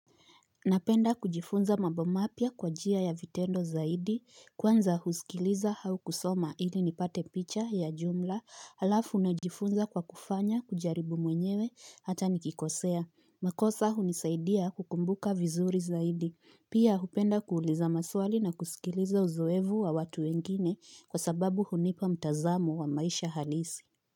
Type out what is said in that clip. Napenda kujifunza mambo mapya. Kwa njia ya vitendo zaidi, kwanza husikiliza hau kusoma ili nipate picha ya jumla, halafu najifunza kwa kufanya kujaribu mwenyewe hata nikikosea. Makosa hunisaidia kukumbuka vinzuri zaidi. Pia, hupenda kuuliza maswali na kusikiliza uzoevu wa watu wengine. Kwa sababu hunipa mtazamo wa maisha halisi.